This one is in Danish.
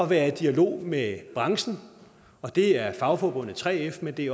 være i dialog med branchen det er fagforbundet 3f men det